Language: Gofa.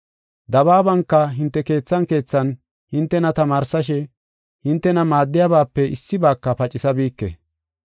Dabaabanka hinte keethan keethan hintena tamaarsishe hintena maaddiyabape issibaaka pacisabike.